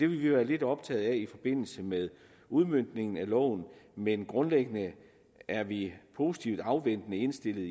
vi vil være lidt optaget af i forbindelse med udmøntningen af loven men grundlæggende er vi positivt afventende indstillet